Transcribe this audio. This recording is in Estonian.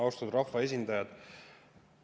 Austatud rahvaesindajad!